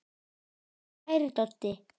Kæri Doddi.